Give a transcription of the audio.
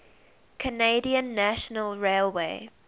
canadian national railway